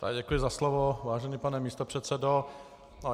Já děkuji za slovo, vážený pane místopředsedo.